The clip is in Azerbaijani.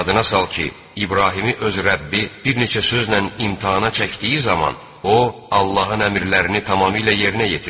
Yadına sal ki, İbrahimi öz Rəbbi bir neçə sözlə imtahana çəkdiyi zaman o, Allahın əmrlərini tamamilə yerinə yetirdi.